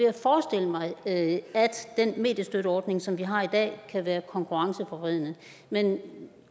at forestille mig at den mediestøtteordning som vi har i dag kan være konkurrenceforvridende men